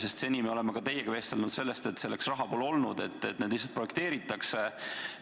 Sest seni me oleme ka teiega vestelnud sellest, aga selleks raha pole olnud, need lihtsalt projekteeritakse.